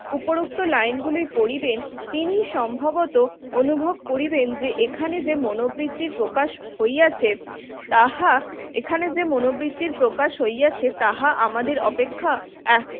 উপরোক্ত লাইনগুলোর পড়িবেন তিনি সম্ভবত অনুভব করিবেন যে এখানে যে মনোবৃত্তির প্রকাশ হইয়াছে তাহা এখানে যে মনোবৃত্তির প্রকাশ হইয়াছে তাহা আমাদের অপেক্ষা